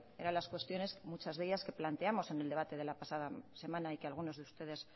eran las cuestiones muchas de ellas que planteamos en el debate de la pasada semana y que algunos de ustedes